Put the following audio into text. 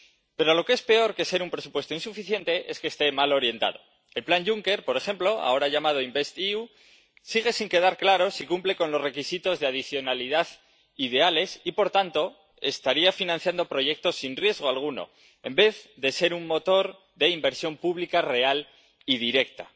Pero peor que ser un presupuesto insuficiente es que esté mal orientado. Por lo que respecta al plan Juncker, por ejemplo, ahora llamado InvestEU, sigue sin quedar claro si cumple con los requisitos de adicionalidad ideales y, por tanto, estaría financiando proyectos sin riesgo alguno, en vez de ser un motor de inversión pública real y directa.